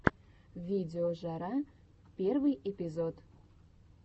видеожара первый эпизод